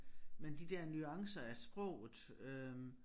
Men de der nuancer af sproget øh